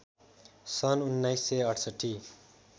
सन् १९६८